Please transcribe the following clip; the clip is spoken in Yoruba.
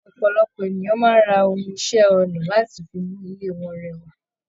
Ọpọlọpọ ènìyàn máa n rá òhun iṣẹ ọnà láti fí mú ilé wọn rẹwà.